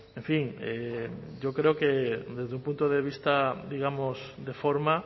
en fin yo creo que desde un punto de vista digamos de forma